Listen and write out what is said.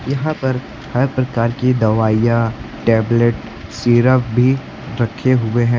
यहां पर हर प्रकार की दवाइयां टैबलेट सिरप भी रखे हुए हैं।